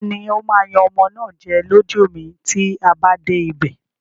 Tani ó máa yan ọmọ náà jẹ lójú mi tí a bá dé ibè?